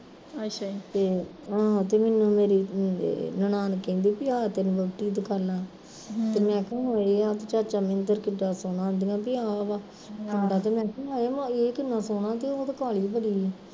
ਤੇ ਆਹ ਤੇ ਮੈਨੂੰ ਮੇਰੀ ਨਨਾਣ ਕਹਿੰਦੀ ਸੀ ਕੀ ਆਹ ਤੇਰੀ ਵਹੁਟੀ ਦੀ ਦੇਖਾਲਾ, ਮੈਂ ਕਿਹਾ ਹੋਏ ਆਹ ਤੇ ਚਾਚਾ ਮਿੰਦਰ ਕਿੱਡਾ ਸੋਹਣਾ ਅਨਦਿਆ ਤੇ ਮੈਂ ਕਿਹਾ ਏਹ ਕਿਨਾ ਸੋਹਣਾ ਤੇ ਉਹ ਤੇ ਕਾਲੀ ਬੜੀ ਸੀ